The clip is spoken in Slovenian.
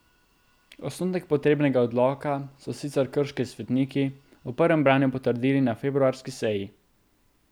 Osnutek potrebnega odloka so sicer krški svetniki v prvem branju potrdili na februarski seji.